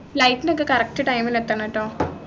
flight നൊക്കെ correct time ലു എത്തണട്ടോ